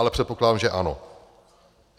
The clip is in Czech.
Ale předpokládám, že ano.